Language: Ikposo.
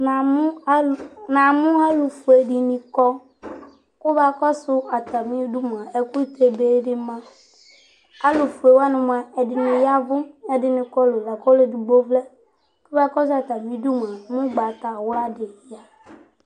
na mo alo na mo alo fue di ni kɔ kò mo akɔsu atami du moa ɛkutɛ be di ma alo fue wani moa ɛdini ya vu ɛdini kɔlu la kò ɔlo edigbo vlɛ kò akɔsu atami du moa ugbata wla di ya